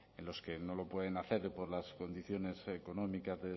en los que no lo pueden hacer por las condiciones económicas